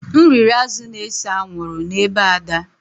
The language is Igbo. M riri azụ̀ na-ese anwụrụ n’ebe Ada